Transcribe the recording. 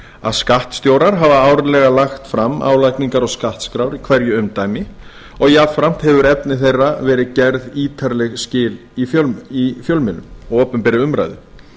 að skattstjórar hafa árlega lagt fram álagningar og skattskrár í hverju umdæmi og jafnframt hefur efni þeirra verið gerð ítarleg skil í fjölmiðlum og opinberri umræðu